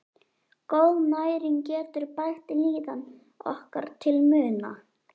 Góð næring getur bætt líðan okkar til muna.